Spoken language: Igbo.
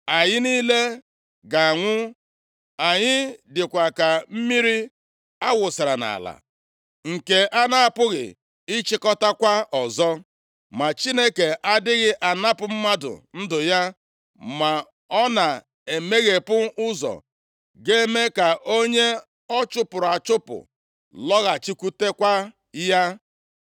Anyị niile ga-anwụ. Anyị dịkwa ka mmiri a wụsara nʼala, nke a na-apụghị ịchịkọtakwa ọzọ. Ma Chineke adịghị anapụ mmadụ ndụ ya, ma ọ na-emeghepụ ụzọ ga-eme ka onye ọ chụpụrụ achụpụ lọghachikwutekwa ya.